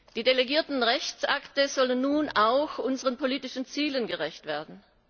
Die delegierten Rechtsakte sollen nun auch unseren politischen Zielen gerecht werden.